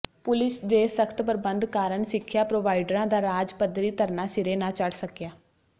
police ਦੇ ਸਖਤ ਪ੍ਰਬੰਧ ਕਾਰਨ ਸਿੱਖਿਆ ਪ੍ਰੋਵਾਈਡਰਾਂ ਦਾ ਰਾਜ ਪੱਧਰੀ ਧਰਨਾ ਸਿਰੇ ਨਾ ਚੜ ਸੱਕਿਆ